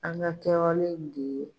An ka kɛwale de ye